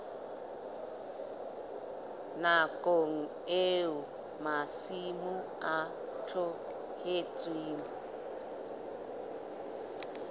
nakong eo masimo a tlohetsweng